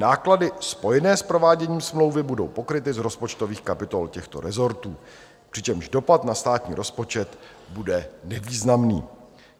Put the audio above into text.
Náklady spojené s prováděním smlouvy budou pokryty z rozpočtových kapitol těchto rezortů, přičemž dopad na státní rozpočet bude nevýznamný.